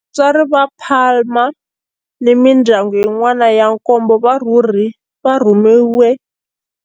Vatswari va Palma ni mindyangu yin'wana ya nkombo va rhumeriwe.